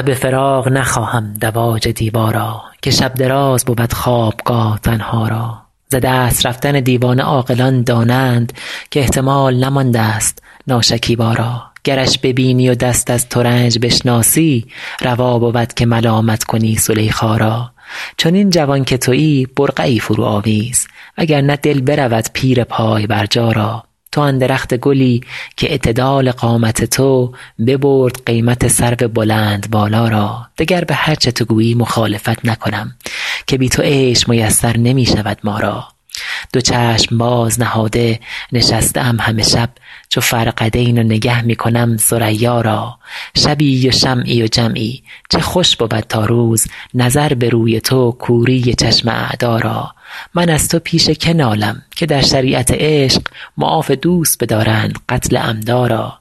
شب فراق نخواهم دواج دیبا را که شب دراز بود خوابگاه تنها را ز دست رفتن دیوانه عاقلان دانند که احتمال نماندست ناشکیبا را گرش ببینی و دست از ترنج بشناسی روا بود که ملامت کنی زلیخا را چنین جوان که تویی برقعی فروآویز و گر نه دل برود پیر پای برجا را تو آن درخت گلی کاعتدال قامت تو ببرد قیمت سرو بلندبالا را دگر به هر چه تو گویی مخالفت نکنم که بی تو عیش میسر نمی شود ما را دو چشم باز نهاده نشسته ام همه شب چو فرقدین و نگه می کنم ثریا را شبی و شمعی و جمعی چه خوش بود تا روز نظر به روی تو کوری چشم اعدا را من از تو پیش که نالم که در شریعت عشق معاف دوست بدارند قتل عمدا را